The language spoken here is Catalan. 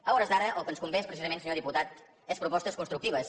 a hores d’ara el que ens convé precisament senyor diputat és propostes constructives